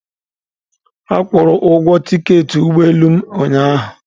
Akwụụrụ ugwo tiketi ụgbọ elu m ụnyaahụ.